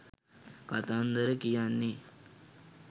කතන්දර කියන්නේ